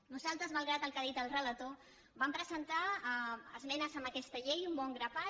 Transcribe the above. nosaltres malgrat el que ha dit el relator vam presentar esmenes a aquesta llei un bon grapat